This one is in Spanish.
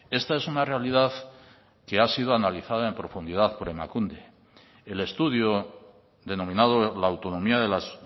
esta es una realidad que ha sido analizada en profundidad por emakunde el estudio denominado la autonomía de las